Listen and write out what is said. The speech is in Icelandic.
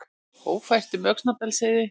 Ófært um Öxnadalsheiði